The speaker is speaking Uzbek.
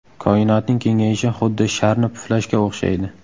Koinotning kengayishi xuddi sharni puflashga o‘xshaydi.